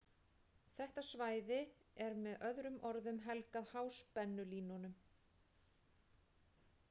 Þetta svæði er með öðrum orðum helgað háspennulínunum.